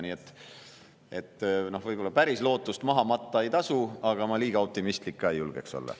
Nii et võib-olla lootust päris maha matta ei tasu, aga ma liiga optimistlik ka ei julge olla.